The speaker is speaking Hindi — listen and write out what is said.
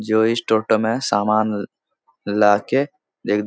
जो इस टोटों मे समान लाके --